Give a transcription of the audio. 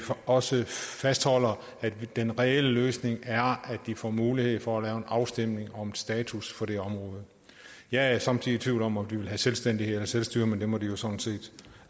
også fastholder at den reelle løsning er vi får mulighed for at lave en afstemning om status for det område jeg er somme tider i tvivl om om de vil have selvstændighed eller selvstyre men det må de jo sådan set